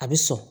A bɛ sɔn